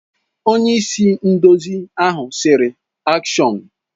Onye-isi-nduzi ahụ sịrị, AKSHỌN!